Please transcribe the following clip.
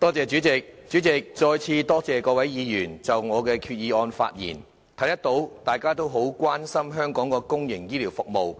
主席，我再次多謝各位議員就我的原議案發言，可見大家都很關注香港的公營醫療服務。